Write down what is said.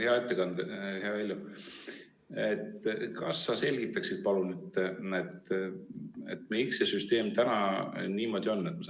Hea ettekandja, hea Heljo, kas sa selgitaksid, palun, miks see süsteem praegu niisugune on?